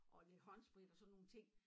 Og lidt håndsprit og sådan nogen ting